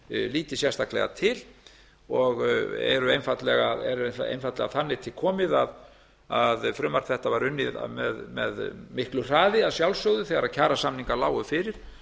líti sérstaklega til og er einfaldlega þannig til komið að frumvarp þetta var unnið með miklu hraði að sjálfsögðu þegar kjarasamningar lágu fyrir